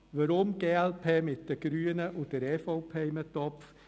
Weshalb kommt die glp mit den Grünen und der EVP in einen Topf?